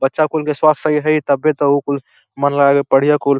बच्चा कुल के स्वास्थ्य सही रही तबे त उ कुल मन ला के पढ़ियन कुल।